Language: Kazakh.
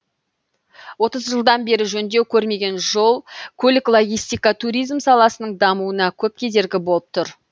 отыз жылдан бері жөндеу көрмеген жол көлік логистика туризм саласының дамуына көп кедергі болып тұр